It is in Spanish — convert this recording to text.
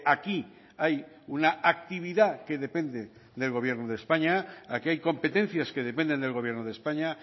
aquí hay una actividad que depende del gobierno de españa aquí hay competencias que dependen del gobierno de españa